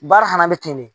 Baara fana bɛ ten de